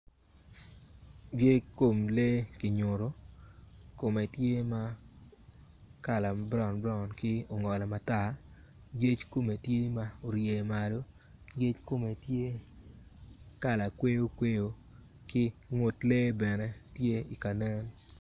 Yec kom lee kinyuto kome tye ma kala ma braun braun ki ongolo matar yec kome tye ma orye malo yec kome tye kala kwoyo kwoy ki ngut lee bene tye kanen.